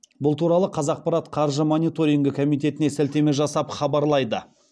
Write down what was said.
бұл туралы қазақпарат қаржы мониторингі комитетіне сілтеме жасап хабарлайды